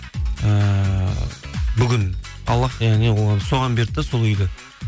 ііі бүгін аллах яғни соған берді де сол үйді